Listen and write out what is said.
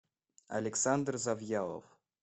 александр завьялов